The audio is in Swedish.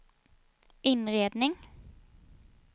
inredning